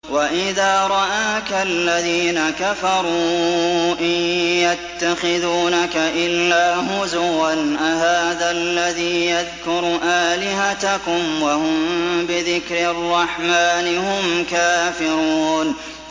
وَإِذَا رَآكَ الَّذِينَ كَفَرُوا إِن يَتَّخِذُونَكَ إِلَّا هُزُوًا أَهَٰذَا الَّذِي يَذْكُرُ آلِهَتَكُمْ وَهُم بِذِكْرِ الرَّحْمَٰنِ هُمْ كَافِرُونَ